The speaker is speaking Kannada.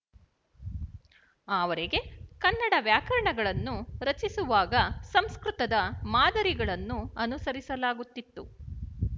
ಆವರೆಗೆ ಕನ್ನಡ ವ್ಯಾಕರಣಗಳನ್ನು ರಚಿಸುವಾಗ ಸಂಸ್ಕೃತದ ಮಾದರಿಗಳನ್ನು ಅನುಸರಿಸಲಾಗುತ್ತಿತ್ತು